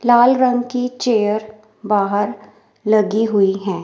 लाल रंग की चेयर बाहर लगी हुई हैं।